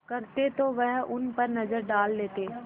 करते तो वह उन पर नज़र डाल लेते